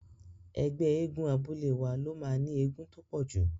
Ẹgbẹ́ eégún abúlé wa ló máa ní eégún tó pọ̀jù.